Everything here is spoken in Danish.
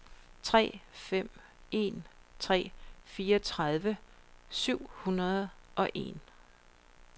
tre fem en tre fireogtredive syv hundrede og en